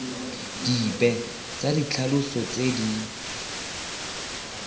dipe tsa ditlhaloso tse di